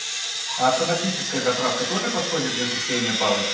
автоматическая заправка тоже подходит для зачисления баллов